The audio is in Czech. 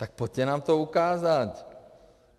Tak pojďte nám to ukázat.